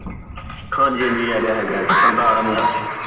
ਹਾਂਜੀ ਹਾਂਜੀ ਹੇਗਾ ਹੇਗਾ ਸਰਦਾਰ ਏ ਮੁੰਡਾ